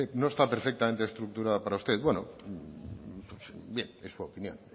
no está perfectamente estructurada para usted bueno bien es su opinión